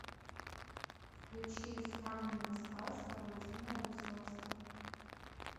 включи странная сказка владимира высоцкого